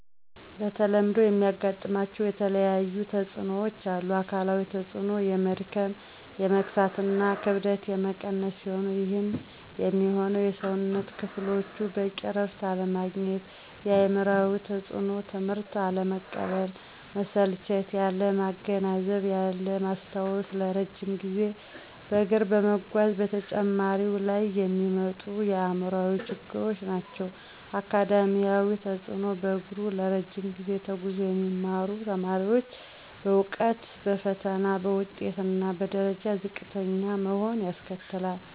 በተለምዶ የሚያጋጥማቸው የተለያየተፅኖዎች አሉ። -አካላዊ ተፅኖ፦ የመድከም፣ የመክሳት እና ክብደት የመቀነስ ሲሆኑ ይህም የሚሆነው የሠውነት ክፍሎቹ በቂ እረፍት አለማግኘት። -አእምሯዊ ተፅኖ፦ ትምህትን አለመቀበል፣ መሰልቸት፣ ያለማገናዘብ፣ ያለማስታወስ ለረጅም ጊዜ በእግር በመጓዝ በተማሪው ላይ የሚመጡ አእምሯዊ ችግሮች ናቸው። -አካዳሚያዊ ተፅኖ፦ በእግሩ ለረጅ ጊዜ ተጉዞ የሚማሩ ተማሪዎች በእውቀት፣ በፈተና፣ በውጤት እና በደረጃ ዝቅተኛ መሆን ያስከትላል